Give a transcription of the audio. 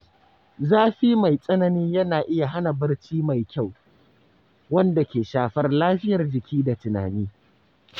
Zafi mai tsanani yana iya hana barci mai kyau, wanda ke shafar lafiyar jiki da tunani.